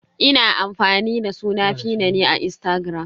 Ina amfani da suna 'feena" ne a Instagram.